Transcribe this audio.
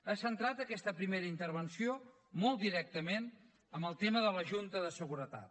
ha centrat aquesta primera intervenció molt directament en el tema de la junta de seguretat